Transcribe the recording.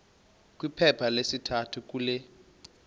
kwiphepha lesithathu kule